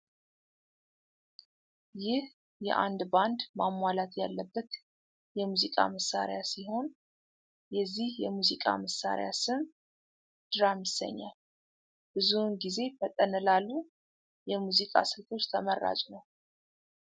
ይህ የአንድ ባንድ ማሟላት ያለበት የሙዚቃ መሳሪያ ሲሆን። የዚህ የሙዚቃ መሳሪያ ስም ድራም ይሰኛል ። ብዙውን ጊዜ ፈጠን ላሉ የሙዚቃ ስልቶች ተመራጭ ነው ።